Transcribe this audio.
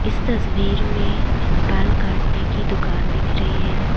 इस तस्वीर में बाल काटने की दुकान दिख रही है।